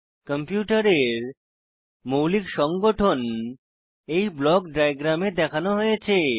কম্পিউটারের মৌলিক সংগঠন এই ব্লক ডায়াগ্রামে দেখানো হয়েছে